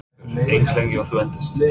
Haukur: Eins lengi og þú endist?